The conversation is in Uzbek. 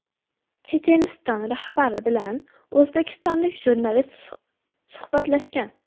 Checheniston rahbari bilan o‘zbekistonlik jurnalist suhbatlashgan.